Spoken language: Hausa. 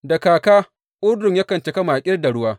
Da kaka Urdun yakan cika makil da ruwa.